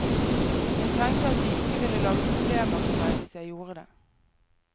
Jeg tenkte at de ikke ville lage problemer for meg hvis jeg gjorde det.